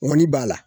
Ŋɔni b'a la